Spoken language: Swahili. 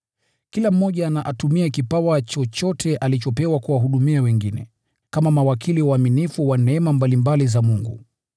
Kila mmoja na atumie kipawa chochote alichopewa kuwahudumia wengine, kama mawakili waaminifu wa neema mbalimbali za Mungu.